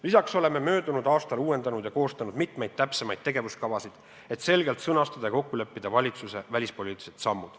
Lisaks oleme möödunud aastal uuendanud ja koostanud mitmeid täpsemaid tegevuskavasid, et selgelt sõnastada ja kokku leppida valitsuse välispoliitilised sammud.